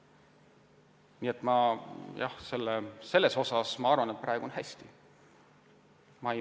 Nii et jah, raielangi suuruse osas on minu arvates meil praegu lood hästi.